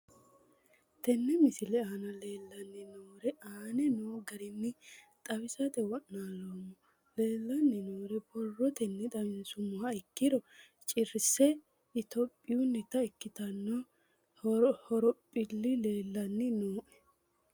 Tene misile aana leelanni nooerre aane noo garinni xawisate wonaaleemmo. Leelanni nooerre borrotenni xawisummoha ikkiro cirase Ethiopiyunita ikkitino horoohphilli leelanni nooe.